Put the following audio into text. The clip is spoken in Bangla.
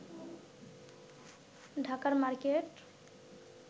ঢাকার মার্কেট